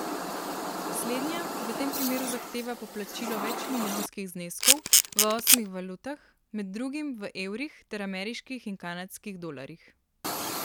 Slednja v tem primeru zahteva poplačilo večmilijonskih zneskov v osmih valutah, med drugim v evrih ter ameriških in kanadskih dolarjih.